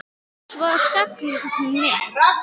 Og svo söng hún með.